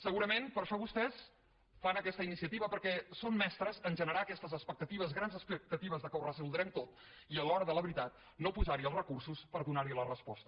segurament per això vostès fan aquesta iniciativa perquè són mestres a generar aquestes expectatives grans expectatives que ho resoldrem tot i a l’hora de la veritat no posar hi els recursos per donar hi la resposta